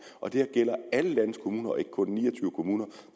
og det her gælder alle landets kommuner og ikke kun ni og kommuner